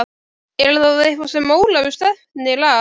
Er það eitthvað sem Ólafur stefnir að?